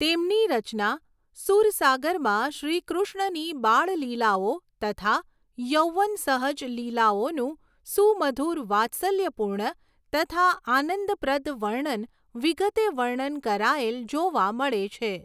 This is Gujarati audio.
તેમની રચના સુરસાગરમાં શ્રી કૃષ્ણની બાળલીલાઓ તથા યૌવન સહજ લીલાઓનું સુમધુર વાત્સલ્યપુર્ણ તથા આનંદ પ્રદ વર્ણન વિગતે વર્ણન કરાયેલ જોવા મળે છે.